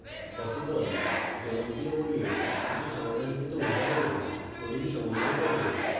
fossee the জনপ্রিয় বইয়ের কিছু সমাধানকৃত উদাহরণের coding সমন্বয় করে